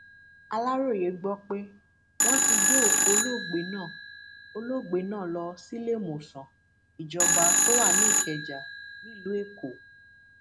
aláròye gbọ pé wọn ti gbé òkú olóògbé náà olóògbé náà lọ síléemọsán ìjọba tó wà ní ìkẹjà nílùú èkó